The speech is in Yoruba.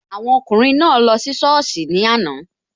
Awọn ọkùnrin naa lọ sí sọ́ọ̀sì ní àná